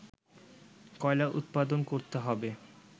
কয়লা উৎপাদন করতে হবে